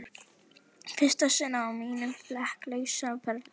Í fyrsta sinn á mínum flekk lausa ferli.